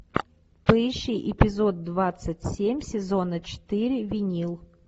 поищи эпизод двадцать семь сезона четыре винил